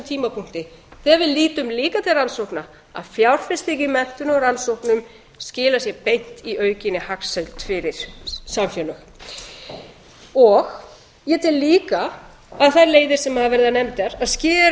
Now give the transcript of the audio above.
tímapunkti þegar við lítum líka til rannsókna að fjárfesting í menntun og rannsóknum skilar sér beint í aukinni hagsæld fyrir samfélög ég tel líka að þær leiðir sem hafa verið nefndar að skera